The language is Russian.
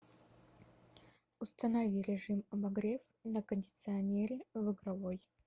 установи режим обогрев на кондиционере в игровой